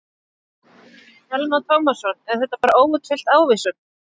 Telma Tómasson: Er þetta bara óútfyllt ávísun?